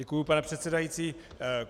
Děkuji, pane předsedající.